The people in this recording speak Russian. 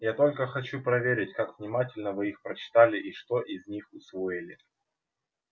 я только хочу проверить как внимательно вы их прочитали и что из них усвоили